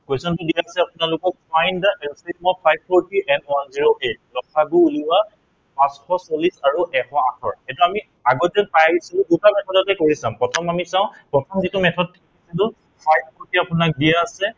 question টো দিয়া আছে আপোনালোকক find the LCM five four three and one hundred eight ল সা গু উলিওৱা, পাঁচশ চল্লিশ আৰু এশ আঠৰ। এইটো আমি আগত যে পাই আহিছো দুটা method তে কৰি চাম। প্ৰথম আমি চাও, প্ৰথম যিটো method কৰিছিলো five four three